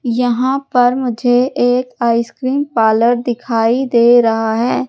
यहाँ पर मुझे एक आइसक्रीम पार्लर दिखाइ दे रहा है।